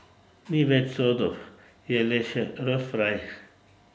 Ni več sodov, je le še rostfraj.